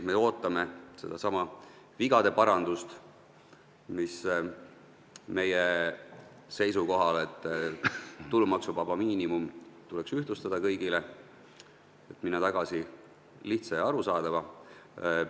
Me ootame sedasama vigade parandust: me oleme seisukohal, et tulumaksuvaba miinimum tuleks kõigil ühtlustada, minna tagasi lihtsa ja arusaadava süsteemi juurde.